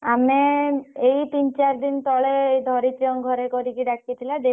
ଆମେ ଏଇ ତିନି ଚାରିଦିନ ତଳେ କରିକି ଦେଇଥିଲା ଧରିତ୍ରୀଙ୍କ ଘରେ କରିକି ଡାକିଥିଲା।